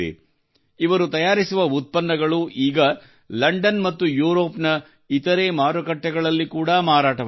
ಇವರು ತಯಾರಿಸುವ ಉತ್ಪನ್ನಗಳು ಈಗ ಲಂಡನ್ ಮತ್ತು ಯೂರೋಪ್ ನ ಇತರೆ ಮಾರುಕಟ್ಟೆಗಳಲ್ಲಿ ಕೂಡಾ ಮಾರಾಟವಾಗುತ್ತಿದೆ